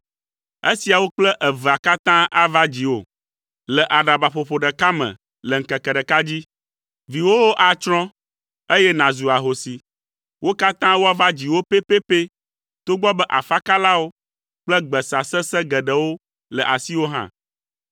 Esiawo kple evea katã ava dziwò le aɖabaƒoƒo ɖeka me le ŋkeke ɖeka dzi. Viwòwo atsrɔ̃, eye nàzu ahosi. Wo katã woava dziwò pɛpɛpɛ togbɔ be afakalawo kple gbesa sesẽ geɖewo le asiwò hã.